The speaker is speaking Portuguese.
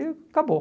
E acabou.